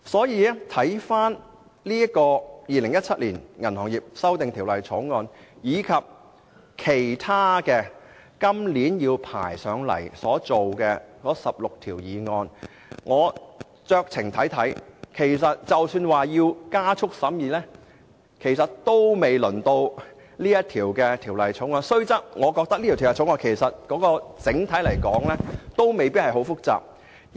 讓我們回看《2017年銀行業條例草案》和其他將在今年提交立法會審議的16項法案，我認為即使要加快審議，也不應是本《條例草案》，雖然這項《條例草案》整體來說未必太複雜。